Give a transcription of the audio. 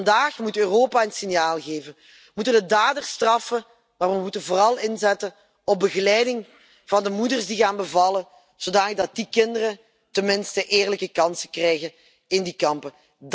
En vandaag moet Europa een signaal geven, moeten we daders straffen. Maar we moeten vooral inzetten op begeleiding van de moeders die gaan bevallen, zodanig dat die kinderen tenminste eerlijke kansen krijgen in die kampen.